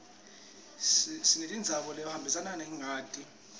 sinemitsambo lehambisa ingati